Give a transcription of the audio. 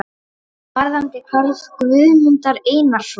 brotum varðandi hvarf Guðmundar Einarssonar.